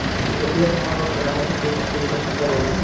কিন্তু এতিয়া তোমাৰ লগত কথা পাতি, সেই বস্তু তো মই চিন্তা কৰিলোঁ